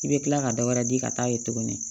I bɛ tila ka dɔ wɛrɛ di ka taa ye tuguni